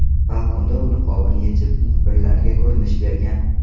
Balkonda u niqobini yechib, muxbirlarga ko‘rinish bergan.